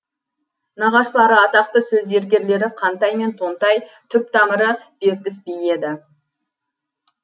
нағашылары атақты сөз зергерлері қантай мен тонтай түп тамыры бертіс би еді